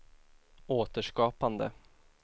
återskapande